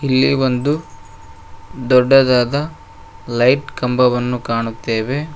ಇಲ್ಲಿ ಒಂದು ದೊಡ್ಡದಾದ ಲೈಟ್ ಕಂಬವನ್ನು ಕಾಣುತ್ತೆವೆ.